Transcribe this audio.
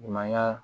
Ɲumanya